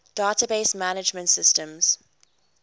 database management systems